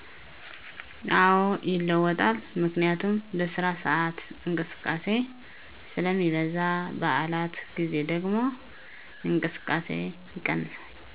አወ ይለወጣል ምክንያቱም በስራ ስኣት እቅስቃሴ ስለሜበዛ በዓላት ግዜ ደግሙ እንቅስቃሴ ይቀንሳል